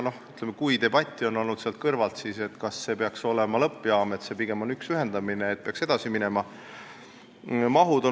Ütleme, et kui on olnud debatti, siis on see käinud selle üle, kas see peaks olema lõppjaam, nii et see on pigem üks ühendamine, ja sellega peaks edasi minema.